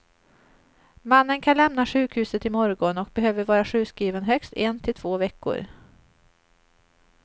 Mannen kan lämna sjukhuset i morgon och behöver vara sjukskriven högst en till två veckor.